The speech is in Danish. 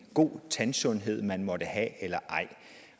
god en tandsundhed man måtte have